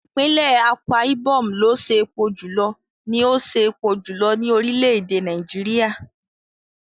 Ìpínlẹ̀ Akwa Ibom ló ṣe epo jùlọ ní ó ṣe epo jùlọ ní orílẹ̀ èdè Nàìjíríà.